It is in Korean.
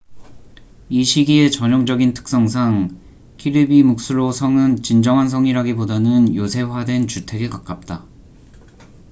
이 시기에 전형적인 특성상 kirby muxlo 성은 진정한 성이라기보다는 요새화된 주택에 가깝다